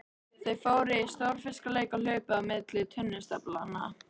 Þau fóru í stórfiskaleik og hlupu á milli tunnustaflanna.